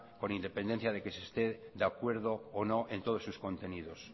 con independencia que se esté de acuerdo o no en todos sus contenidos